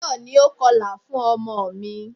Táyọ̀ ni o kọlà fún ọmọ mi.